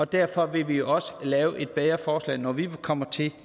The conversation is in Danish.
derfor vil vi også lave et bedre forslag når vi kommer til